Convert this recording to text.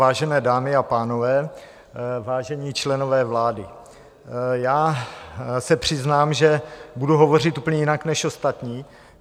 Vážené dámy a pánové, vážení členové vlády, já se přiznám, že budu hovořit úplně jinak než ostatní.